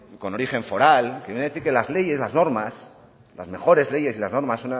con origen foral que viene a decir que las leyes las normas las mejores leyes y las normas